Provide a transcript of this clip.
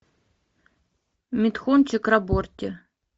митхун чакраборти